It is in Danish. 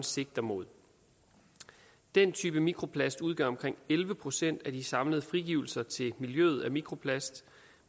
sigter mod den type mikroplast udgør omkring elleve procent af de samlede frigivelser til miljøet af mikroplast